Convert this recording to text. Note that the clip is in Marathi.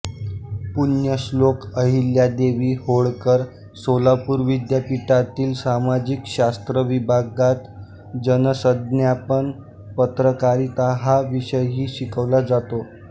पुण्यश्लोक अहिल्यादेवी होळकर सोलापूर विद्यापीठातील सामाजिक शास्त्र विभागात जनसंज्ञापन पत्रकारिता हा विषयही शिकवला जातो